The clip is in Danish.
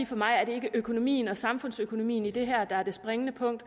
for mig er det ikke økonomien og samfundsøkonomien i det her der er det springende punkt